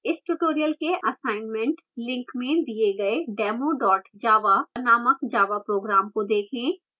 इस tutorial के assignment link में दिए गए demo java named java program को देखें